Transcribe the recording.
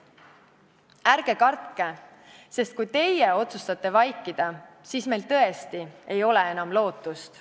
Ärge kartke, sest kui teie otsustate vaikida, siis meil tõesti ei ole enam lootust.